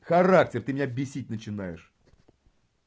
характер ты меня бесить начинаешь